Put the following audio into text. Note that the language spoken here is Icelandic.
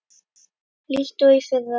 líkt og í fyrra.